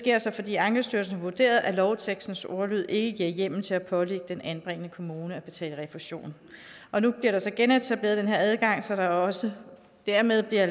er sket fordi ankestyrelsen har vurderet at lovtekstens ordlyd ikke giver hjemmel til at pålægge den anbringende kommune at betale refusion og nu bliver der så genetableret den her adgang så der også dermed bliver